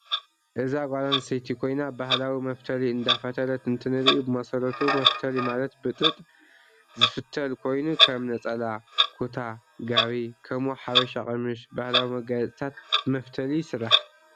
አዛ ጋል አንስተይቲ ኮይና ባህላዊ መፊተሊ እዳፋተለት እንትንርኢ ብመሰረቱ መፊተሊ ማለት ብጥጥ ዝፊተሊ ኮይኑ ከም ነፀላ፣ ኩታ፣ ጋቢ ከምኡ ሓበሻ ቀምሽ ባህላዊ መጋየፂታት ብመፊተሊ ይስራሕ።